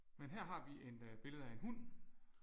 Men her har vi en billede af en hund